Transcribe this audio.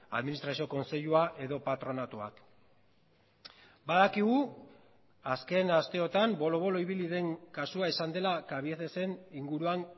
administrazio kontseilua edo patronatuak badakigu azken asteotan bolo bolo ibili den kasua izan dela cabiecesen inguruan